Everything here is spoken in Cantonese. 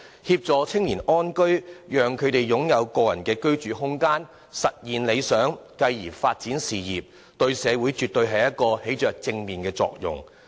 協助青年人安居，讓他們擁有個人的居住空間，實現理想，繼而發展事業，這些對社會絕對起着正面作用。